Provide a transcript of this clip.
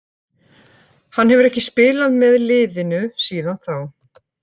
Hann hefur ekki spilað með liðinu síðan þá.